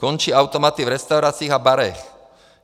Končí automaty v restauracích a barech.